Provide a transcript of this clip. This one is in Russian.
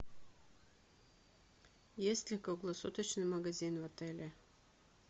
есть ли круглосуточный магазин в отеле